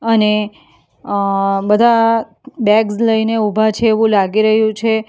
અને અં બધા બેગ્સ લઈને ઊભા છે એવું લાગી રહ્યું છે.